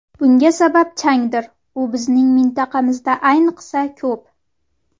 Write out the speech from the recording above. Bunga sabab changdir, u bizning mintaqamizda ayniqsa ko‘p.